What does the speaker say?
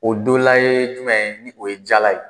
O dɔ la ye jumɛn ye, ni o ye jala ye.